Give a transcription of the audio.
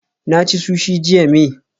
Na ci sushi jiya may